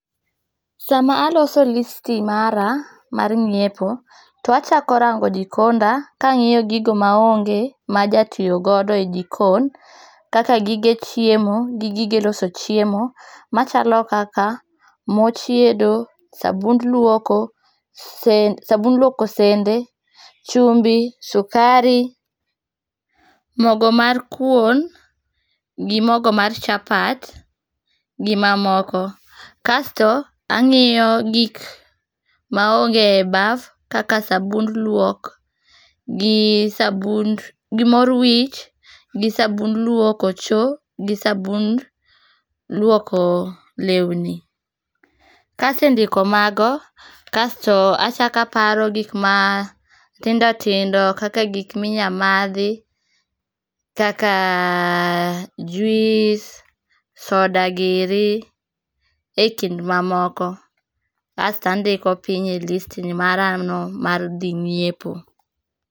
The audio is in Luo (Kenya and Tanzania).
Sama aloso listi mara mar ng'iepo, to achako rango jikonda kangi'yo gigo maonge majatiyo godo e jikon, kaka gige chiemo gi gige loso chiemo, ma chalo kaka mo chiedo, sabund lwoko, sabund lwoko sende, chumbi, sukari[cs, mogo mar kuon, gi mogo mar chapat, gi mamoko. Kasto, ang'iyo gik ma onge e baf kaka sabund luok, gi sabund, gi mor wich, gi sabund lwoko cho, gi sabund lwoko lewni. Kasendiko mago, kasto achak aparo gik ma tindo tindo kaka gik minya madhi kaka juice, soda giri, e kind mamoko. Asto andiko piny e listi mara no mar dhi ng'iepo.